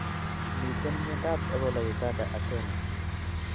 Miten miandab ebola uganda ak kenya